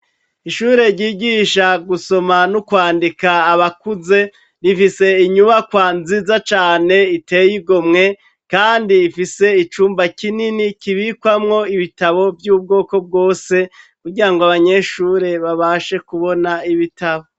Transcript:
Ishure ryigisha gusoma no kwandika abakuze rifise inyubakwa nziza cane iteye igomwe kandi ifise icumba kinini kibikwamwo ibitabo vy'ubwoko bwose kugira ngo abanyeshure babashe kubona ibitabo.